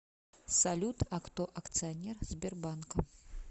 салют а кто акционер сбербанка